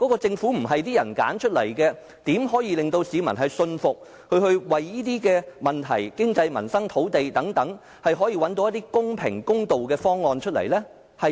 政府不是由人民選出來的，怎可以令到市民信服，認為它可以就經濟、民生、土地等問題找到一些公平、公道的方案呢？